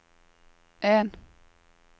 en